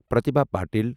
پرتیبھا پاتل